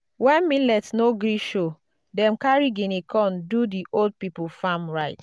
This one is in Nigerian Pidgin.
when millet no gree show dem carry guinea corn do the old people farm rites.